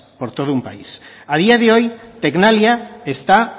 por todo un país a día de hoy tecnalia está